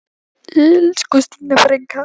Elsku Stína frænka!